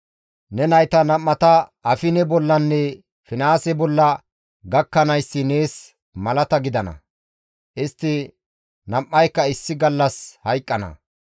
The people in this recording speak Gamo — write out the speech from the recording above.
«Ne nayta nam7ata Afine bollanne Finihaase bolla gakkanayssi nees malata gidana; istti nam7ayka issi gallas hayqqana.